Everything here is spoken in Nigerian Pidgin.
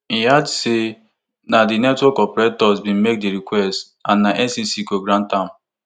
e add say na di network operators bin make di request and ncc go grant am